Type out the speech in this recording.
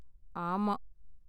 ஆமா.